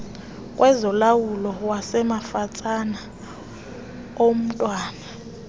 kwezolawulo wasemafatsane omntwana